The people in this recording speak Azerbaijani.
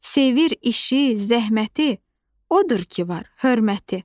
Sevir işi, zəhməti, odur ki var hörməti.